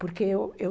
Porque eu... Eu...